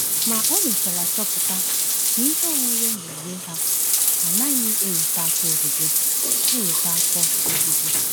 Ma o mechara chọpụta na ihe onwunwe n’onwe ha anaghị eweta afọ ojuju. eweta afọ ojuju.